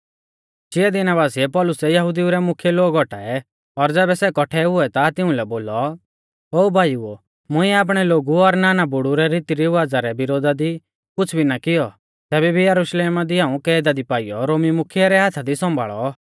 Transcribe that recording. चिया दिना बासिऐ पौलुसै यहुदिऊ रै मुख्यै लोग औटाऐ और ज़ैबै सै कौट्ठै हुऐ ता तिउंलै बोलौ ओ भाईओ मुंइऐ आपणै लोगु और आपणै नानबुड़ु रीतीरिवाज़ा रै विरोधा दी कुछ़ भी ना कियौ तैबै भी यरुशलेमा दी हाऊं कैदा दी पाइयौ रोमी मुख्यै रै हाथा दी सौंभाल़ौ